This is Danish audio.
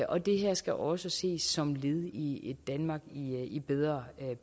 og det her skal også ses som led i et danmark i bedre